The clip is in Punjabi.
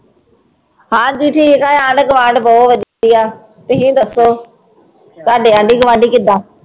ਹਾਂਜੀ ਠੀਕ ਹੈ ਆਂਢ ਗੁਆਂਢ ਬਹੁਤ ਵਧੀਆ, ਤੁਸੀਂ ਦੱਸੋ ਤੁਹਾਡੇ ਆਂਢੀ ਗੁਆਂਢੀ ਕਿੱਦਾਂ?